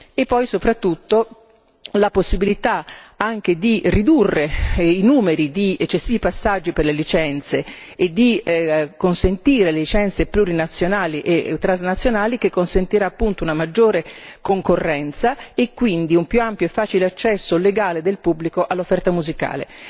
e poi soprattutto la possibilità anche di ridurre i numeri di eccessivi passaggi per le licenze e di consentire le licenze plurinazionali e transnazionali che consentiranno appunto una maggiore concorrenza e quindi un più ampio e facile accesso del pubblico all'offerta musicale.